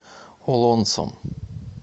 олонцом